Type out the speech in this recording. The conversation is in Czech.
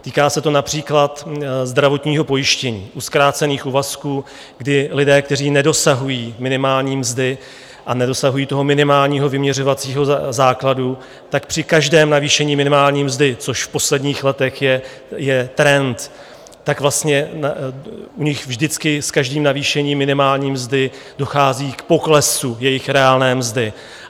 Týká se to například zdravotního pojištění u zkrácených úvazků, kdy lidé, kteří nedosahují minimální mzdy a nedosahují toho minimálního vyměřovacího základu, tak při každém navýšení minimální mzdy, což v posledních letech je trend, tak vlastně u nich vždycky s každým navýšením minimální mzdy dochází k poklesu jejich reálné mzdy.